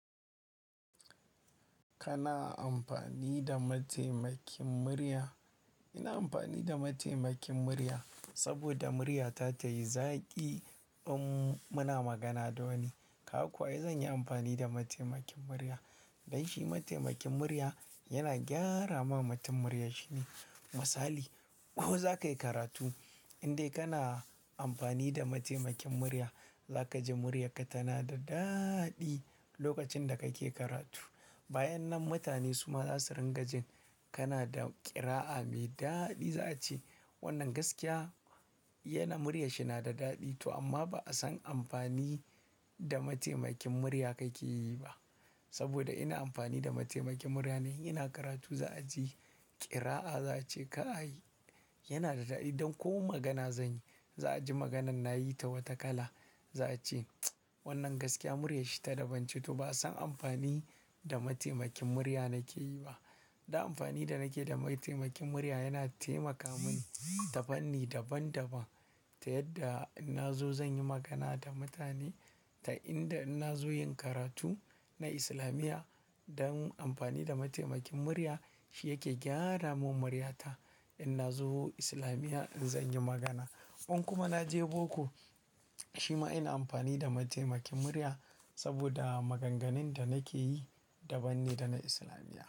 Kana amfani da mataimakin murya? Ina amfani da mataimakin murya saboda muryata tayi zaƙi in muna magana da wani. Ka ga kuwa ai zan yi amfani da mataimakin murya. Dan shi mataimakin murya yana gyara ma mutum muryar shi ne. Misali, ko za ka yi karatu indai kana amfani da mataimakin murya, za ka ji muryaka tana da daɗi lokacin da kake karatu. Bayan nan mutane su ma za su ringa jin kana da ƙira'a mai daɗi. Za a ce, "Wannan gaskiya yana murya shi na da daɗi to amma ba'a san amfani da mataimakin murya kake yi ba, saboda ina amfani da mataimakin murya ne, in ina karatu za a ji ƙira'a za a ce "kai" yana da daɗi don ko magana zan yi, za a ji maganan na yi ta wata kala. Za a ce, "Wannan gaskiya murya shi ta daban ce, to ba'a san amfani da mataimakin murya nake yi ba." Dan amfani da nake da mataimakin murya yana taimaka mini ta fanni daban-daban. Ta yadda in na zo zan yi magana da mutane da in da in na zo yin karatu na islamiya don amfani da mataimakin murya shi yake gyara mun murya ta. In na zo islamiyya in zan yi magana. In kuma na je boko, shi ma ina amfani da mataimakin murya saboda maganganun da nake yi daban ne da na islamiyya.